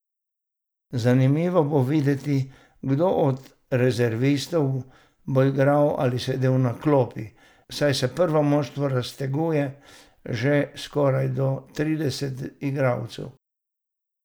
Zanimivo bo videti, kdo od rezervistov bo igral ali sedel na klopi, saj se prvo moštvo razteguje že skoraj do trideset igralcev.